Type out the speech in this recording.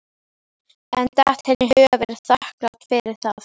En datt henni í hug að vera þakklát fyrir það?